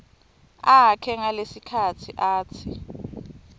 akhe ngalesikhatsi atsi